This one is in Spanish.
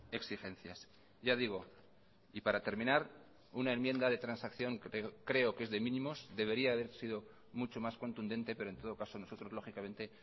exigencias ya digo y para terminar una enmienda de transacción creo que es de mínimos debería haber sido mucho más contundente pero en todo caso nosotros lógicamente